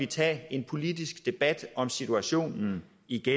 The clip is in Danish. tage en politisk debat om situationen